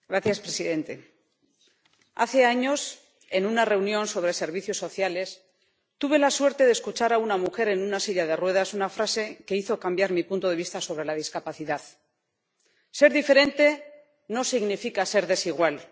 Señor presidente, hace años, en una reunión sobre servicios sociales, tuve la suerte de escuchar a una mujer en una silla de ruedas una frase que hizo cambiar mi punto de vista sobre la discapacidad Ser diferente no significa ser desigual.